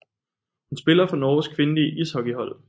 Hun spiller for Norges kvindelige ishockeyhold